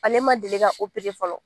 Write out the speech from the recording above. Ale ma deli fɔlɔ